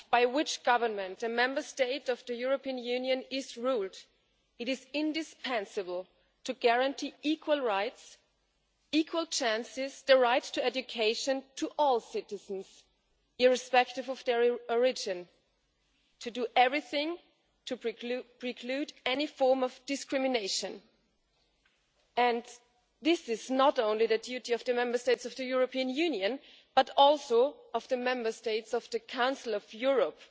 Whichever government a Member State of the European Union is ruled by, it is indispensable to guarantee equal rights, equal chances and the right to education to all citizens, irrespective of their origin, and to do everything to preclude any form of discrimination. This is not only the duty of the Member States of the European Union, but also of the Member States of the Council of Europe.